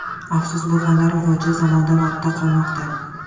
Afsus, bu fanlar rivoji zamondan ortda qolmoqda.